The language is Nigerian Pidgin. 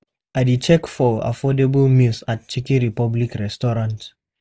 I dey check menu for affordable meals at Chicken Republic restaurant.